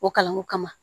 O kalanko kama